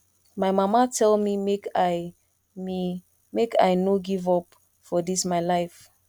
my mama tell me make i me make i no give up for dis my life